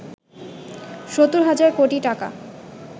সত্তর হাজার কোটি টাকা